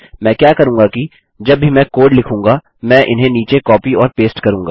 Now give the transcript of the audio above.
मैं क्या करूँगा कि जब भी मैं कोड लिखूँगा मैं इन्हें नीचे कॉपी और पेस्ट करूँगा